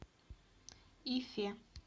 ифе